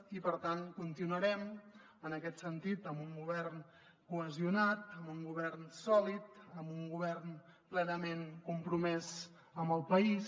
i per tant continuarem en aquest sentit amb un govern cohesionat amb un govern sòlid amb un govern plenament compromès amb el país